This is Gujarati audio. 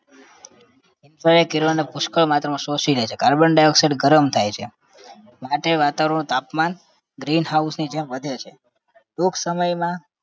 એ કિરણોને પુષ્કળ માત્રામાં શોષી લે છે carbon dioxide ગરમ થાય છે માટે વાતાવરણનું તાપમાન green house ની જેમ વધે છે ટૂંક સમયમાં